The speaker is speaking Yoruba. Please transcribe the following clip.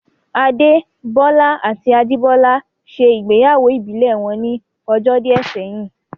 Adé Bọ́lá àti Ajìbọ́lá ṣe ìgbéyàwó ìbílẹ̀ wọn ní ọjọ́ díẹ̀ sẹ́yìn